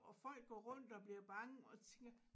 Og folk går rundt og bliver bange og tænker